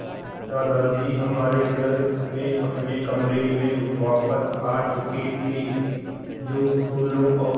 दादाजी हमारे घर में अपने कमरे में वापस आ चुके थे जो फूलों और